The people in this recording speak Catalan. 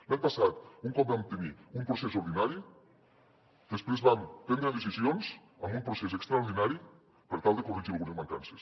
l’any passat un cop vam tenir un procés ordinari després vam prendre decisions amb un procés extraordinari per tal de corregir algunes mancances